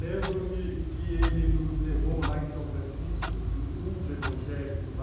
Lembro-me que ele nos levou lá em São Francisco, no culto evangélico lá,